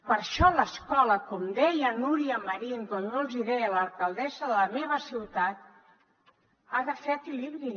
per això l’escola com deia núria marín com jo els hi deia l’alcaldessa de la meva ciutat ha de fer equilibri